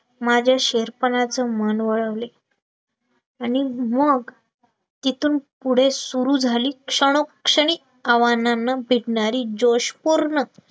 माझ्या शेरपाणा चे मन वळवले, आणि मग तिथून पुढे सुरू झाली, क्षणोक्षणी आव्हानांनं भेटणारी जोशपूर्ण